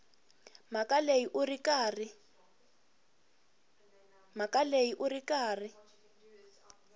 mhaka leyi u ri karhi